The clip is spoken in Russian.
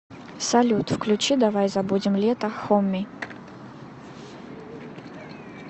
салют включи давай забудем лето хоми